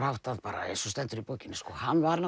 háttað bara eins og stendur í bókinni hann var